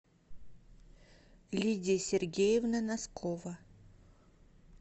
лидия сергеевна носкова